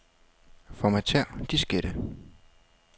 Formatér diskette.